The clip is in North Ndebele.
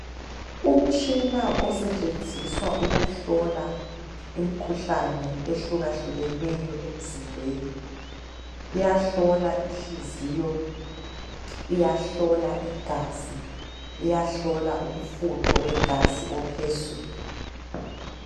Umtshina osetshenziswa ukuhlola umkhuhlane ehlukahlukeneyo emzimbeni iyahlola inhliziyo, iyahlola igazi, iyahlola umfutho wegazi ophezulu